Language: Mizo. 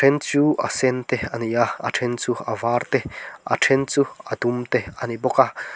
a then chu a sen te ani a a then chu a var te a then chu a dum te a ni bawk a.